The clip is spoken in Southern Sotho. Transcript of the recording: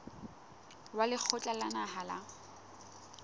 wa lekgotla la naha la